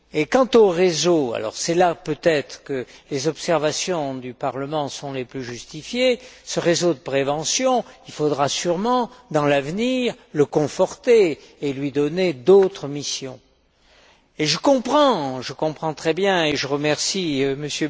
Quant au réseau c'est là peut être que les observations du Parlement sont les plus justifiées ce réseau de prévention, il faudra sûrement, dans l'avenir, le conforter et lui donner d'autres missions. Je vous comprends très bien et je remercie M.